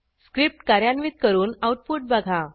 script कार्यान्वित करून output बघा